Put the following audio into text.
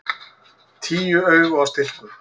Tíu augu á stilkum!